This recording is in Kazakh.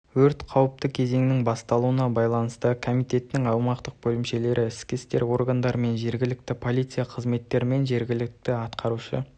өрт қауіпті кезеңнің басталуына байланысты комитетінің аумақтық бөлімшелері ішкі істер органдарымен жергілікті полиция қызметімен жергілікті атқарушы